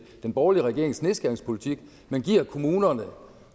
den borgerlige regerings nedskæringspolitik giver kommunerne